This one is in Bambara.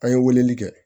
An ye weleli kɛ